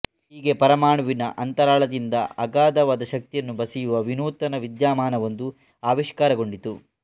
ಹೀಗೆ ಪರಮಾಣುವಿನ ಅಂತರಾಳದಿಂದ ಅಗಾಧವಾದ ಶಕ್ತಿಯನ್ನು ಬಸಿಯುವ ವಿನೂತನ ವಿದ್ಯಮಾನವೊಂದು ಆವಿಷ್ಕಾರಗೊಂಡಿತು